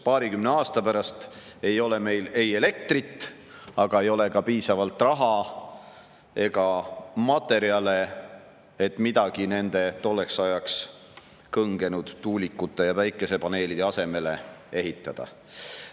Paarikümne aasta pärast ei ole meil ei elektrit ega ka piisavalt raha ega materjale, et midagi nende tolleks ajaks kõngenud tuulikute ja päikesepaneelide asemele ehitada.